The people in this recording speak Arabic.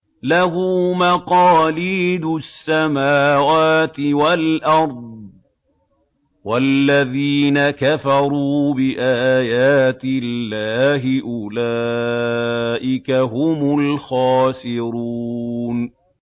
لَّهُ مَقَالِيدُ السَّمَاوَاتِ وَالْأَرْضِ ۗ وَالَّذِينَ كَفَرُوا بِآيَاتِ اللَّهِ أُولَٰئِكَ هُمُ الْخَاسِرُونَ